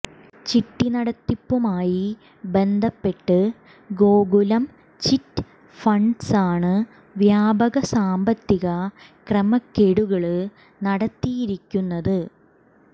ചിട്ടി നടത്തിപ്പുമായി ബന്ധപ്പെട്ട് ഗോകുലം ചിറ്റ് ഫണ്ട്സാണ് വ്യാപക സാമ്പത്തിക ക്രമക്കേടുകള് നടത്തിയിരിക്കുന്നത്